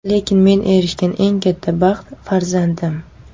Lekin men erishgan eng katta baxt farzandim.